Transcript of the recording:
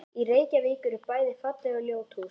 Í Reykjavík eru bæði falleg og ljót hús.